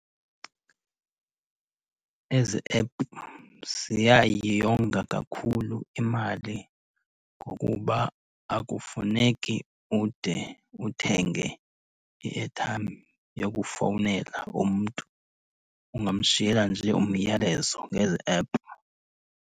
Ezi ephu ziyayonga kakhulu imali ngokuba akufuneki ude uthenge i-airtime yokufowunela umntu. Ungamshiyela nje umyalezo ngezi ephu.